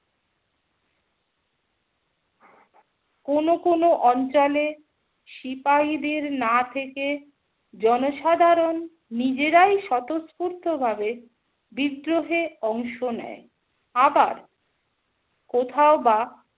কোনো কোনো অঞ্চলে সিপাহীদের না থেকে জনসাধারণ নিজেরাই স্বতঃস্ফূর্ত ভাবে বিদ্রোহে অংশ নেয়। আবার কোথাও বা